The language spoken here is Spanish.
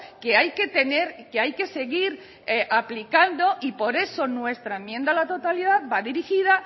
que hay que tener que hay que seguir aplicando y por eso nuestra enmienda a la totalidad va dirigida